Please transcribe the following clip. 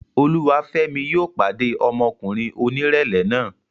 Olúwafẹ́mi yóò pàdé ọmọkùnrin onírẹ̀lẹ̀ náà